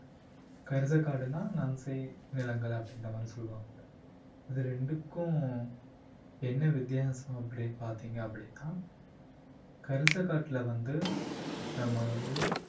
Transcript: கரிசக்காடுன்னா நன்செய் நிலங்கள் அப்படின்ற மாதிரி சொல்லுவாங்க. இது ரெண்டுக்கும் என்ன வித்தியாசம் அப்படின்னு பாத்தீங்க அப்படின்னா கரிசக்காட்டுல வந்து நம்ம வந்து